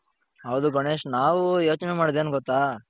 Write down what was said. ಹೌದು ಗಣೇಶ್ ನಾವು ಯೋಚನೆಮಾಡೋದು ಏನು ಗೊತ್ತಾ?